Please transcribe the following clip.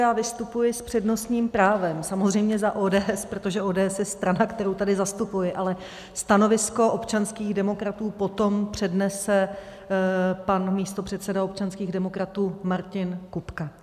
Já vystupuji s přednostním právem, samozřejmě za ODS, protože ODS je strana, kterou tady zastupuji, ale stanovisko občanských demokratů potom přednese pan místopředseda občanských demokratů Martin Kupka.